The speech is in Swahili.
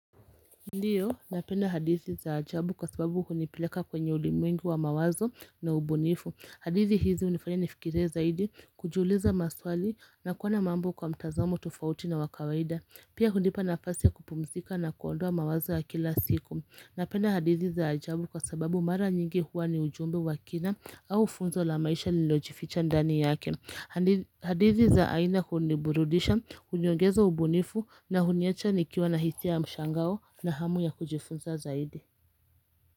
Ndiyo, napenda hadithi za ajabu kwa sababu hunipileka kwenye ulimwengi wa mawazo na ubunifu hadithi hizi hunifanya nifikirie zaidi kujiuliza maswali na kuona mambo kwa mtazamo tofauti na wa kawaida Pia hunipa nafasi ya kupumzika na kuondoa mawazo ya kila siku Napenda hadithi za ajabu kwa sababu mara nyingi huwa ni ujumbe wa kina au funzo la maisha lililojificha ndani yake hadithi za aina huniburudisha, huniongeza ubunifu na huniacha nikiwa na hisia ya mshangao na hamu ya kujifunza zaidi.